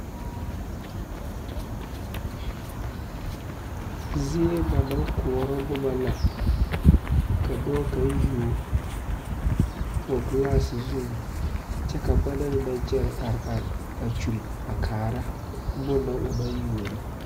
Zie ba naŋ kuɔrɔ boma la ka dɔɔ kaŋ yuo o gelaase zuiŋ kyɛ ka a banaŋ naŋ kyɛre a are are a kyul kaara bonne na o naŋ yuo na.